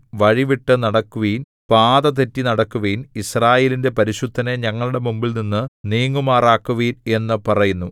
വഴി വിട്ടു നടക്കുവിൻ പാത തെറ്റി നടക്കുവിൻ യിസ്രായേലിന്റെ പരിശുദ്ധനെ ഞങ്ങളുടെ മുമ്പിൽനിന്നു നീങ്ങുമാറാക്കുവിൻ എന്നു പറയുന്നു